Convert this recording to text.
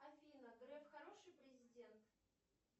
афина греф хороший президент